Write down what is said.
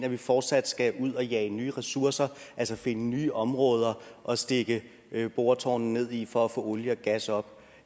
at vi fortsat skal ud og jage nye ressourcer altså finde nye områder at stikke boretårnene ned i for at få olie og gas op